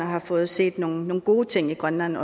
har fået set nogle gode ting i grønland